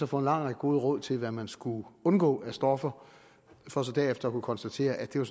få en lang række gode råd til hvad man skulle undgå af stoffer for så derefter at kunne konstatere at det var